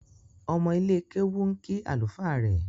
Omo ile kewu nki alufa rẹ.